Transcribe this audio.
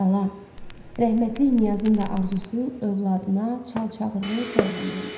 Bala, rəhmətlik Niyazın da arzusu övladına çal-çağırlı toy eləmək idi.